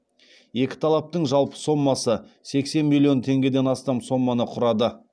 екі талаптың жалпы сомасы сексен миллион теңгеден астам соманы құрады